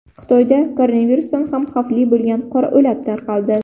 Xitoyda koronavirusdan ham xavfli bo‘lgan qora o‘lat tarqaldi.